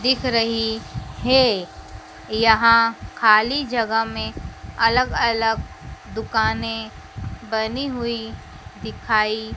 दिख रही है यहां खाली जगह में अलग अलग दुकानें बनी हुई दिखाई--